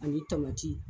Ani tamati